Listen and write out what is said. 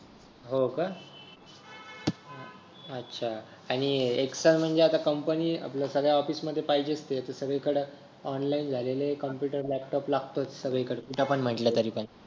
हो का अच्छा आणि एक्सेल म्हणजे कंपनी आपलं सगळ्या ऑफिस मध्ये पाहिजेच ते सगळीकडे ऑनलाइन झाले आहे कम्प्युटर लॅपटॉप लागतो सगळीकडे कुठे पण म्हटलं तरी पण